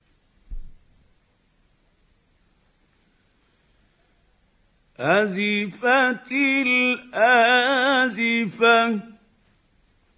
أَزِفَتِ الْآزِفَةُ